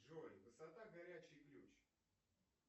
джой высота горячий ключ